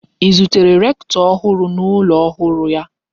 I zutere rektọ ọhụrụ n'ụlọ ọhụrụ ya?